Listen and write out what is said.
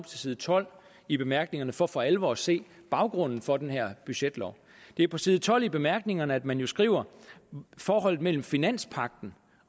side tolv i bemærkningerne for for alvor at se baggrunden for den her budgetlov det er på side tolv i bemærkningerne at man beskriver forholdet mellem finanspagten